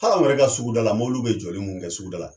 Hali anw yɛrɛ ka suguda la, mɔbiliw bi jɔli min kɛ suguda la